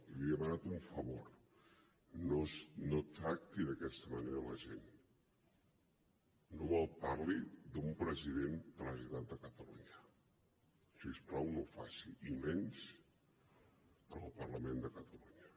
i li he demanat un favor no tracti d’aquesta manera la gent no malparli d’un president de la generalitat de catalunya si us plau no ho faci i menys en el parlament de catalunya